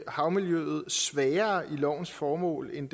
havmiljøet svagere i lovens formål end